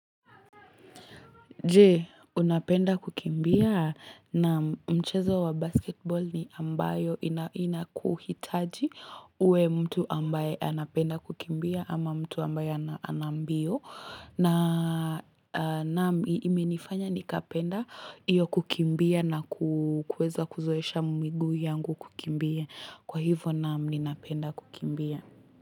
Je, unapenda kukimbia na mchezo wa basketball ni ambayo inakuhitaji uwe mtu ambaye anapenda kukimbia ama mtu ambaye ana mbio. Na naam imenifanya nikapenda hiyo kukimbia na kuweza kuzoesha miguu yangu kukimbia. Kwa hivo naam ninapenda kukimbia.